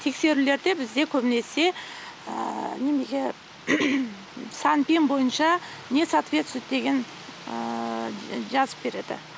тексерулерде бізде көбінесе неменеге санпин бойынша несоответсвует деген жазып береді